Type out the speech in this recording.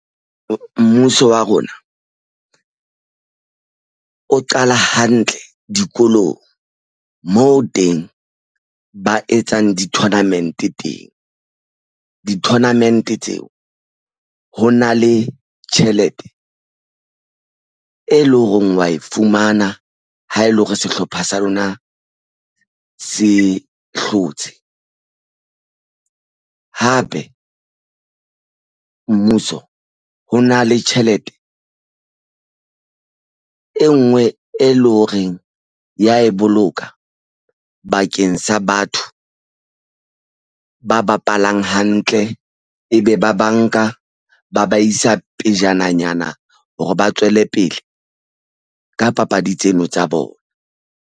Mmuso wa rona o qala hantle dikolong moo teng ba etsang di-tournament teng di tournament tseo ho na le tjhelete e leng hore wa e fumana ha ele hore sehlopha sa rona se hlotse hape mmuso ho na le tjhelete e nngwe e leng horeng ya e boloka bakeng sa batho ba bapalang hantle ebe ba banka ba ba isa pejananyana hore ba tswele pele ka papadi tseno tsa bona.